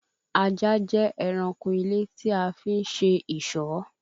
Ajá jẹ ẹranko ilé tí a fi ń ṣe ìṣọ́